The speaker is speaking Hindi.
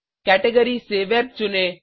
कैटेगरीज़ से वेब चुनें